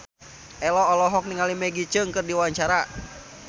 Ello olohok ningali Maggie Cheung keur diwawancara